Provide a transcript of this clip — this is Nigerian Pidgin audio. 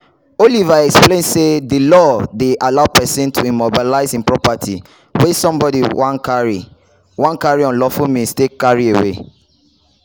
oliver explain say di law dey allow pesin to immobilize im property wia somebody wan carry wan carry unlawful means take carry away.